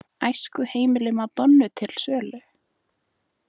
Æskuheimili Madonnu til sölu